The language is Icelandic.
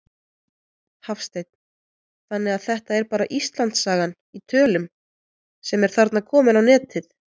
Hafsteinn: Þannig að þetta er bara Íslandssagan í tölum sem er þarna komin á netið?